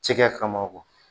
Cɛkɛ kama